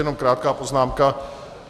Jenom krátká poznámka.